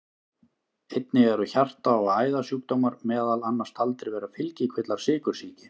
Einnig eru hjarta- og æðasjúkdómar meðal annars taldir vera fylgikvillar sykursýki.